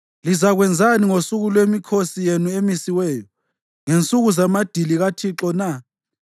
Lizakwenzani ngosuku lwemikhosi yenu emisiweyo, ngensuku zamadili kaThixo na?